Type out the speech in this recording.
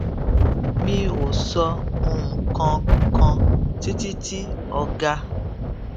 mi ò sọ nǹkan kan títí tí ọga